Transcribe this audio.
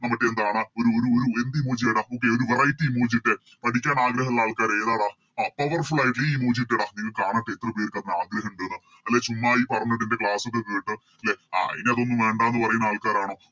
നമുക്കെന്താണ് ഒരു ഒരു ഒരു എന്ത് Emoji യ ഇട പുതിയ ഒരു Variety emoji ഇട്ടേ പഠിക്കാൻ ആഗ്രഹം ഉള്ള ആൾക്കാര് ഏതാടാ ആഹ് Powerful ആയിട്ട് ഈ Emoji ഇട്ടെടാ കാണട്ടെ എത്ര പേർക്ക് ആഗ്രഹം ഇണ്ടെന്ന് അല്ലെ ചുമ്മാ ഈ പറഞ്ഞോട്ട് എൻറെ Class ഒക്കെ കേട്ട് ലെ ആഹ് ഇനി അതൊന്നും വേണ്ടാന്ന് പറയുന്ന ആൾക്കാരാണോ